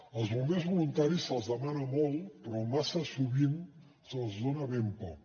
als bombers voluntaris se’ls demana molt però massa sovint se’ls dona ben poc